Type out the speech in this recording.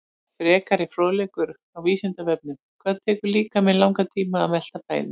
Frekari fróðleikur á Vísindavefnum: Hvað tekur líkamann langan tíma að melta fæðu?